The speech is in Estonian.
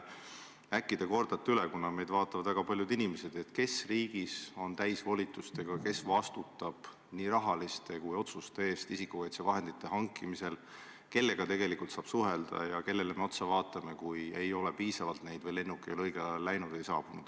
Äkki te kordate üle, kuna meid vaatavad väga paljud inimesed, selle, kes riigis on täisvolitustega, kes vastutab nii rahaliste otsuste eest kui ka otsuste eest isikukaitsevahendite hankimisel, kellega tegelikult saab suhelda ja kelle poole me vaatame, kui neid ei ole piisavalt või lennuk ei ole õigel ajal läinud või saabunud.